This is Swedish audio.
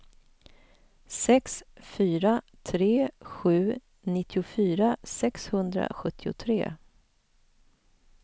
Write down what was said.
sex fyra tre sju nittiofyra sexhundrasjuttiotre